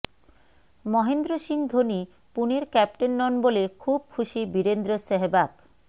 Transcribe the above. মহেন্দ্র সিং ধোনি পুনের ক্যাপ্টেন নন বলে খুব খুশি বীরেন্দ্র সেহেবাগ